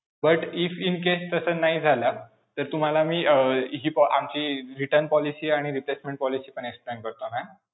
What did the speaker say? But if incase तसं नाही झालं, तर तुम्हाला मी अं हि आमची return policy आणि replacement policy पण explain करतो ma'am.